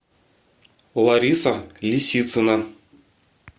лариса лисицына